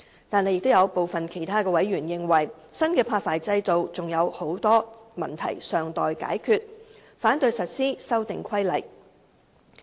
但是，有部分其他委員認為，新的發牌制度還有許多問題尚待解決，反對實施《修訂規例》。